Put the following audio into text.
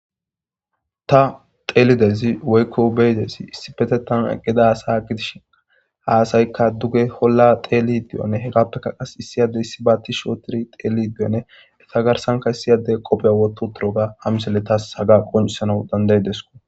Ta telidezi woykko beydesi issi pete tan qida sa gidishi haasaykka duge holla teeli diyone hegappekka qas issiyade issi baati shootiri teli diene eta garsanka issiyade qopheya woto turoga hamiselletas haga qonisana danday desko.